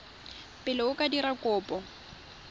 pele o ka dira kopo